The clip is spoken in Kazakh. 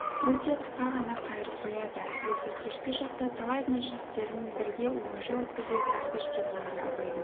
өте қысқа ғана қайырып қояды әсіресе кешкі шақта талай мәжілістерін бірге оңаша өткізеді әбіш келгенде абайдың